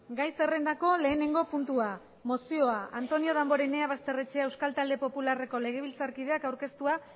gai zerrendako lehenengo puntua mozioa antonio damborenea basterrechea euskal talde popularreko legebiltzarkideak aurkeztua